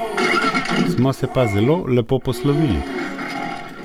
Smo se pa zelo lepo poslovili.